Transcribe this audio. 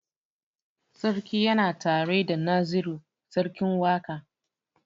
Sarki yana tare da Naziru sarkin waƙa.